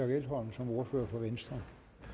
elholm som ordfører for venstre